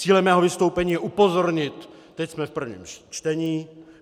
Cílem mého vystoupení je upozornit - teď jsme v prvním čtení.